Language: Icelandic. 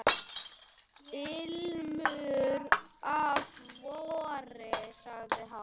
Ilmur af vori sagði hann.